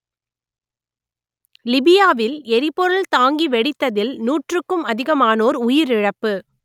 லிபியாவில் எரிபொருள் தாங்கி வெடித்ததில் நூற்றுக்கும் அதிகமானோர் உயிரிழப்பு